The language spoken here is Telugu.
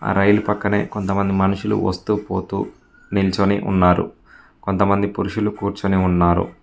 ఆ రైలు పక్కనే కొంత మంది మనుషులు వస్తూ పోతు నిల్చొని ఉన్నారు కొంత మంది కూర్చొని ఉన్నారు.